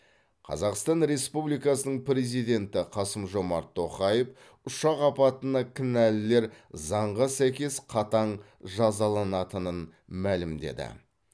қазақстан республикасының президенті қасым жомарт тоқаев ұшақ апатына кінәлілер заңға сәйкес қатаң жазаланатынын мәлімдеді